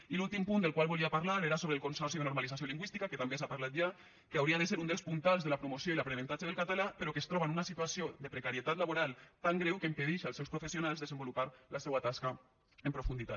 i l’últim punt del qual volia parlar era sobre el consorci de normalització lingüística que també s’ha parlat ja hauria de ser un dels puntals de la promoció i l’aprenentatge del català però que es troba en una situació de precarietat laboral tan greu que impedeix als seus professionals desenvolupar la seua tasca en profunditat